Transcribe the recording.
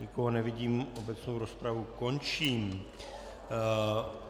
Nikoho nevidím, obecnou rozpravu končím.